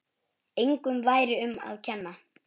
Engum væri um að kenna.